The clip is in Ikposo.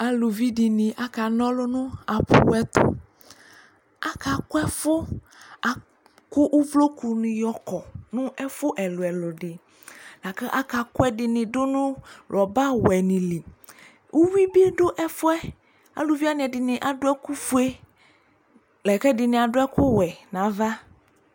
Aluvi dɩnɩ akana ɔlʋ nʋ apʋ ɛtʋ Akakʋ ɛfʋ Akʋ uvlokunɩ yɔkɔ nʋ ɛfʋ ɛlʋ-ɛlʋ dɩ la kʋ akakʋ ɛdɩnɩ dʋ nʋ rɔbawɛnɩ li Uyui bɩ dʋ ɛfʋ yɛ Aluvi wanɩ ɛdɩnɩ adʋ ɛkʋfue la kʋ ɛdɩnɩ adʋ ɛkʋwɛ nʋ ava